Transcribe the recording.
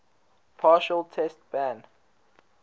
partial test ban